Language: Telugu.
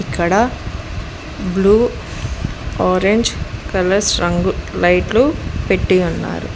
ఇక్కడ బ్లూ ఆరెంజ్ కలర్స్ రంగు లైట్లు పెట్టి ఉన్నారు.